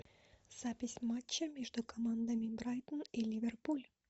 запись матча между командами брайтон и ливерпуль